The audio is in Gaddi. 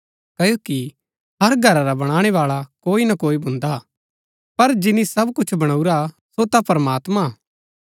क्ओकि हर घरा रा बणाणै बाळा कोई ना कोई भुन्दा हा पर जिनी सब कुछ बणऊरा सो ता प्रमात्मां हा